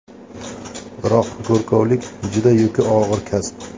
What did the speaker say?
Biroq go‘rkovlik juda yuki og‘ir kasb.